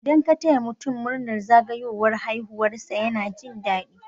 Idan ka taya mutun murnar zagayowar haihuwar sa yana jin dadi